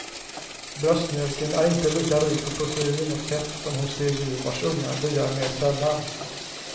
Bröstmjölken är inte lika rik på protein och fett som hos de djur vars ungar diar mer sällan.